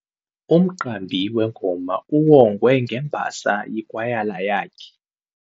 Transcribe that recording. Umqambi wengoma uwongwe ngembasa yikwayala yakhe.